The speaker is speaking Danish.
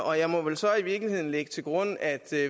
og jeg må vel så i virkeligheden lægge til grund at